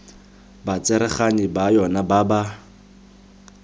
batsereganyi ba yona ba ba